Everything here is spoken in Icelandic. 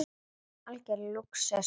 Algjör lúxus.